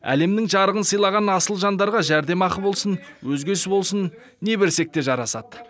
әлемнің жарығын сыйлаған асыл жандарға жәрдемақы болсын өзгесі болсын не берсек те жарасады